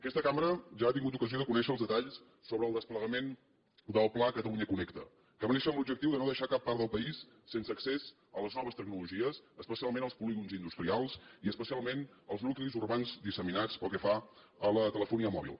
aquesta cambra ja ha tingut ocasió de conèixer els detalls sobre el desplegament del pla catalunya connecta que va néixer amb l’objectiu de no deixar cap part del país sense accés a les noves tecnologies especialment als polígons industrials i especialment als nuclis urbans disseminats pel que fa a la telefonia mòbil